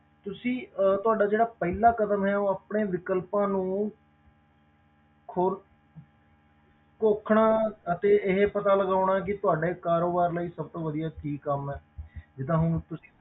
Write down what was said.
ਤੁਸੀਂ ਅਹ ਤੁਹਾਡਾ ਜਿਹੜਾ ਪਹਿਲਾਂ ਕਦਮ ਹੈ ਉਹ ਆਪਣੇ ਵਿਕਲਪਾਂ ਨੂੰ ਖੋਲ ਘੋਖਣਾ ਅਤੇ ਇਹ ਪਤਾ ਲਗਾਉਣਾ ਕਿ ਤੁਹਾਡੇ ਕਾਰੋਬਾਰ ਲਈ ਸਭ ਤੋਂ ਵਧੀਆ ਕੀ ਕੰਮ ਹੈ ਜਿੱਦਾਂ ਹੁਣ ਤੁਸੀਂ